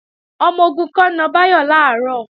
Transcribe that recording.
Ọmọ-ogun kan na Báyọ̀ làárọ̀